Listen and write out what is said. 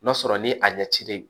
N'a sɔrɔ ni a ɲɛ cilen